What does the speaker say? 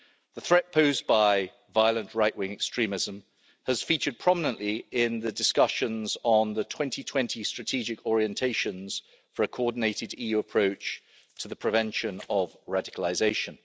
The threat posed by violent right-wing extremism has featured prominently in the discussions on the 2020 strategic orientations for a coordinated EU approach to the prevention of radicalisation.